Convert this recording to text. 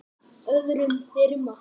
öðrum þyrma.